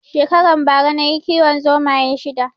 Shekaran bara nayi kiwon zomaye shida